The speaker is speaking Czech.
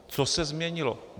Co se změnilo?